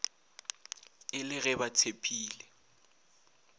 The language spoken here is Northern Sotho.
e le ge ba tshepile